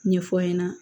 Ɲɛfɔ n ɲɛna